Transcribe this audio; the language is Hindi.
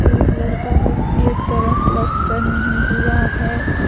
ब्लू कलर का है एक तरफ पलस्तर नहीं हुआ है।